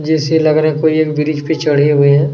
जैसी लग रहा है कोई एक ब्रिज पर चढ़े हुए है।